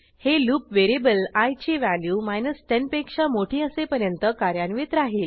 हे loop variable i ची value 10 पेक्षा मोठी असेपर्यंत कार्यान्वित राहिल